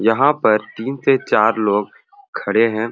यहाँ पर तीन से चार लोग हैं।